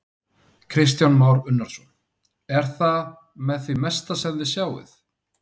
Kristján Már Unnarsson: Er það með því mesta sem þið sjáið?